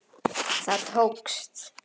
Það tókst.